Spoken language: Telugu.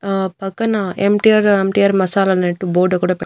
ఆ పక్కన ఎమ్_టీ_ఆర్ ఎమ్_టి_ఆర్ మసాలా అన్నట్టు బోర్డు కూడా పెట్--